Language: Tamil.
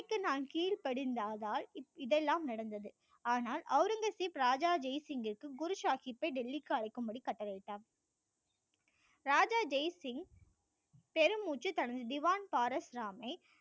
நான் கீழ்ப்படிந்ததால் தான் இதெலாம் நடந்தது ஆனால் ஔரங்கசீப் ராஜா ஜெய் சிங்கிற்கு குரு சாகிப்பை டெல்லிக்கு அழைக்கும் படி கட்டளை இட்டார் ராஜா ஜெய் சிங் பெருமூச்சு தனது திவான் பாரஸ் ராம் ஐ